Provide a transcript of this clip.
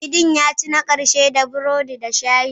Sardine ya ci na ƙarshe da burodi da shayi.